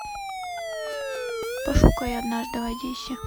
пошукай однажды в одессе